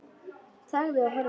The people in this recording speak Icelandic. Þagði og horfði.